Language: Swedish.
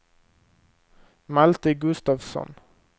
Malte Gustafsson